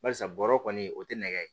Barisa bɔrɔ kɔni o tɛ nɛgɛ ye